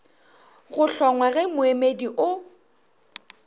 go hlongwa ge moemedi o